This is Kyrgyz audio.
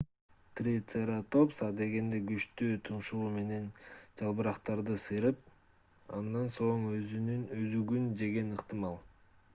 трицератопс адегенде күчтүү тумшугу менен жалбырактарды сыйрып андан соң өзөгүн жеген ыктымал